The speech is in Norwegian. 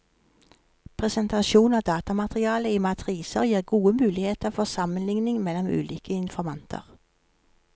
Presentasjon av datamaterialet i matriser gir gode muligheter for sammenligning mellom ulike informanter.